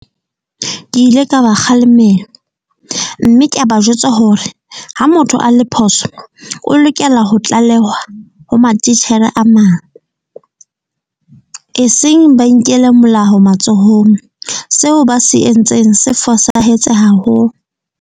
Ke ile ka ba kgalemela mme ka ba jwetsa hore ha motho a le phoso o lokela ho tlalehwa ho matitjhere a mang, eseng ba inkele molaho matsohong. Seo ba se entseng se fosahetse haholo.